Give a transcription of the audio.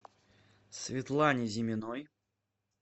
светлане зиминой